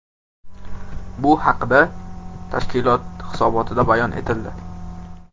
Bu haqda tashkilot hisobotida bayon etildi .